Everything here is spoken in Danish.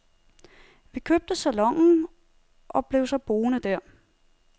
Vi købte salonen og blev så boende der.